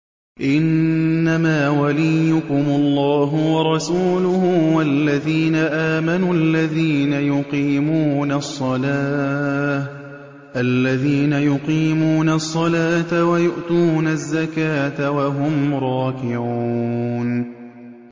إِنَّمَا وَلِيُّكُمُ اللَّهُ وَرَسُولُهُ وَالَّذِينَ آمَنُوا الَّذِينَ يُقِيمُونَ الصَّلَاةَ وَيُؤْتُونَ الزَّكَاةَ وَهُمْ رَاكِعُونَ